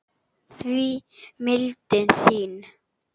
því mildin þín